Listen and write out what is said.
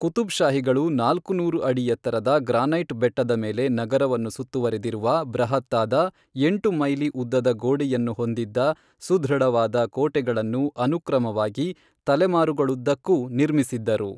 ಕುತುಬ್ಷಾಹಿಗಳು ನಾಲ್ಕು ನೂರು ಅಡಿ ಎತ್ತರದ ಗ್ರಾನೈಟ್ ಬೆಟ್ಟದ ಮೇಲೆ ನಗರವನ್ನು ಸುತ್ತುವರೆದಿರುವ ಬೃಹತ್ತಾದ ಎಂಟು ಮೈಲಿ ಉದ್ದದ ಗೋಡೆಯನ್ನು ಹೊಂದಿದ್ದ ಸುದೃಢವಾದ ಕೋಟೆಗಳನ್ನು ಅನುಕ್ರಮವಾಗಿ ತಲೆಮಾರುಗಳುದ್ದಕ್ಕೂ ನಿರ್ಮಿಸಿದ್ದರು.